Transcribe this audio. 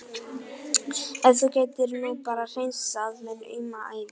Nú átti hárið að fá að njóta sín.